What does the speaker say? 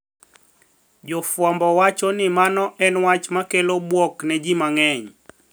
Jofwambo wacho ni mano en wach mokelo bwok ne ji mang`eny